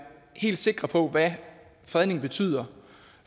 helt sikker på hvad fredningen betyder